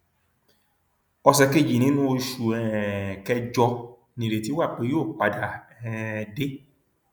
ọsẹ kejì nínú oṣù um kẹjọ nìrètí wà pé yóò padà um dé